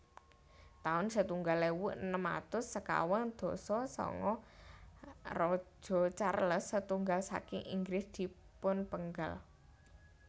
taun setunggal ewu enem atus sekawan dasa sanga Raja Charles setunggal saking Inggris dipunpenggal